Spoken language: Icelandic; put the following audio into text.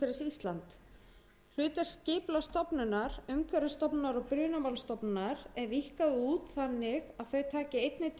ísland hlutverk skipulagsstofnunar umhverfisstofnunar og brunamálastofnunar er víkkað út þannig að þau taki einnig til